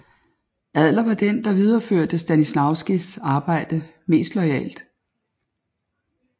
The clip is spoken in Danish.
Adler var den der videreførte Stanislavskis arbejde mest loyalt